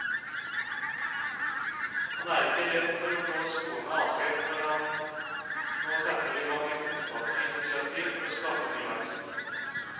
Han er ikke redd for å gå skoene av seg når han nå setter i gang et omfattende initiativ for å skape ny vekst.